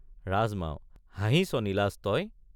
ৰাজমাও—হাঁহিছ নিলাজ তই।